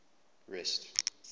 rest